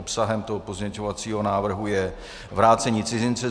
Obsahem tohoto pozměňovacího návrhu je vrácení cizince.